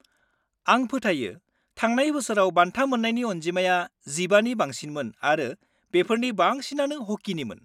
-आं फोथायो थांनाय बोसोराव बान्था मोन्नायनि अनजिमाया 15 नि बांसिनमोन आरो बेफोरनि बांसिनानो हकिनिमोन।